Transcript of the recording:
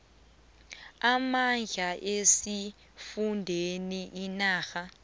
namandla esifundeni inarha